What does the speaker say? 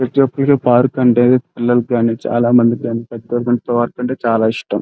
ప్రతిఒక్కరికీ park అంటే పిల్లలికి గాని పెద్దలికి గాని చాలా ఇష్టం --